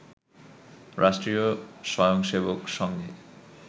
রাষ্ট্রীয় স্বয়ংসেবক সংঘে